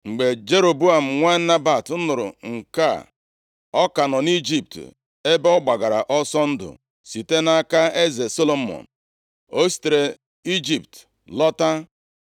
Mgbe Jeroboam nwa Nebat nụrụ nke a (ọ ka nọ nʼIjipt ebe ọ gbagara ọsọ ndụ site nʼaka eze Solomọn), o sitere Ijipt lọta.